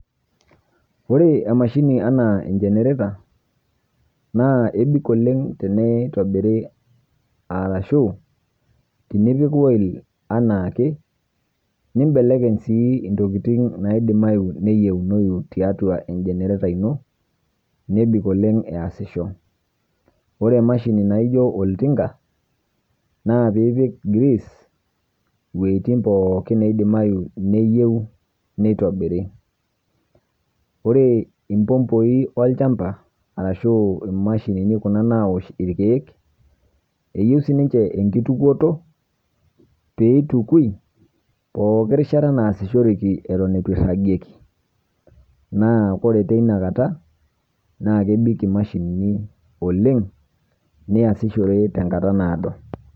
Ore emashini enaa ejenereta, naa abik oleng' tenetobiri arashuu tenepik ayil anaake, nimbelekeny intokitin sii naidimayu nayiounoyu tiatua enjenereta ino nebik oleng' easisho. Ore emashini naaijo oltinka, naa piipik grease iwotin poookin neidimayu neyieu neitobiri. Ore imbomboyi olchamba arashu imashinini kuna naosh ilkeek, eyieu siininje enkitukoto pookin rishata naasishoreki aton eitu eiragieki, naa ore teina kata naa kebik imashinini oleng' niasishore tenkata naado.